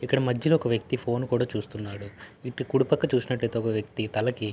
ఇక్కడ మధ్యలో ఒక వ్యక్తి ఫోన్ కూడా చూస్తున్నాడు. కుడిపక్క చూసినట్లయితేఒక వ్యక్తి తలకి--